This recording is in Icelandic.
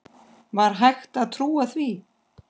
Var hægt að trúa því?